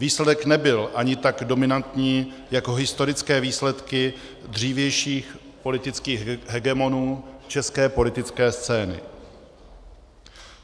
Výsledek nebyl ani tak dominantní jako historické výsledky dřívějších politických hegemonů české politické scény.